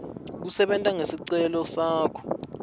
kusebenta ngesicelo sakho